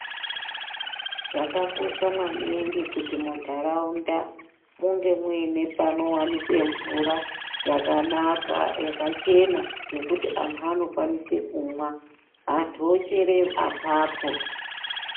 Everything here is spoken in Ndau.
Zvakakosha maningi kuti mu mandaraunda munge muine pano wanikwe mvura yakanaka yakachena yekuti antu anokwanise kumwa vantu vochera apapo.